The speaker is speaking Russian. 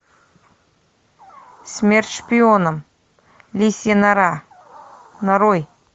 смерть шпионам лисья нора нарой